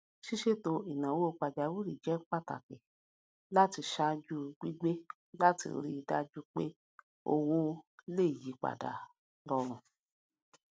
ṣíṣètò ináwó pajàwìrì jẹ pàtàkì ṣáájú gígbé láti rí dájú pé owó le yípadà rọrùn